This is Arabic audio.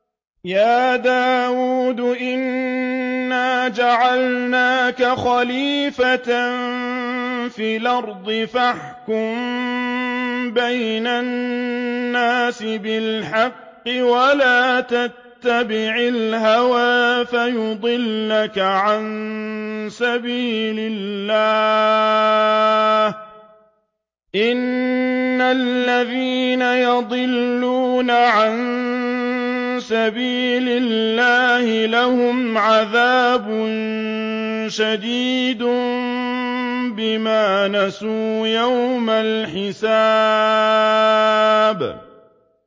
يَا دَاوُودُ إِنَّا جَعَلْنَاكَ خَلِيفَةً فِي الْأَرْضِ فَاحْكُم بَيْنَ النَّاسِ بِالْحَقِّ وَلَا تَتَّبِعِ الْهَوَىٰ فَيُضِلَّكَ عَن سَبِيلِ اللَّهِ ۚ إِنَّ الَّذِينَ يَضِلُّونَ عَن سَبِيلِ اللَّهِ لَهُمْ عَذَابٌ شَدِيدٌ بِمَا نَسُوا يَوْمَ الْحِسَابِ